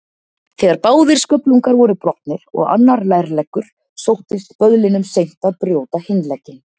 Þegar báðir sköflungar voru brotnir og annar lærleggur, sóttist böðlinum seint að brjóta hinn legginn.